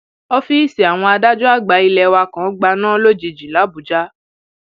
ọfíìsì àwọn adájọ àgbà ilé wa kan gbaná um lójijì làbújá